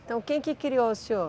Então quem que criou o senhor?